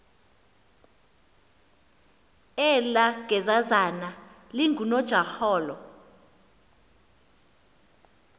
elaa gezazana lingunojaholo